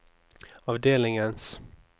avdelingens